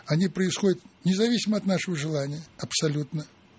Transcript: они происходят независимо от нашего желания абсолютно